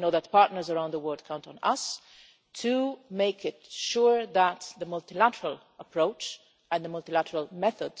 We know that the partners around the world count on us to make sure that the multilateral approach and the multilateral method